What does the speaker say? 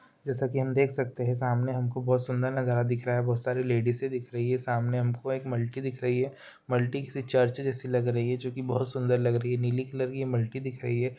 जैसा की हम देख सकते है सामने हमको बोहत सुंदर नजारा दिख रहा है बोहत लेडिसे दिख रही है सामने हमको एक मल्टी दिख रही है मल्टी किसी चर्च लग रही है जो कि बोहत सुंदर लग रही है नीली कलर की ये मल्टी दिख रही है।